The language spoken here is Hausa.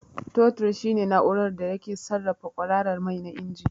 Totir shine na'urar da ke sarrafa kwararar mai na injin.